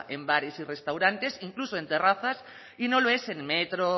en bares y restaurantes incluso en terrazas y no lo es en metro